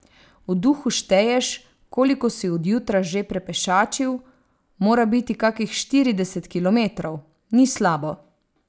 V duhu šteješ, koliko si od jutra že prepešačil, mora biti kakih štirideset kilometrov, ni slabo.